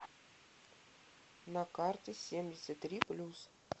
на карте семьдесят три плюс